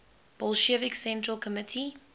bolshevik central committee